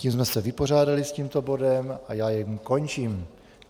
Tím jsme se vypořádali s tímto bodem a já jej končím.